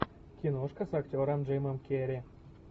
киношка с актером джимом керри